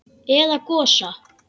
Eða Gosa?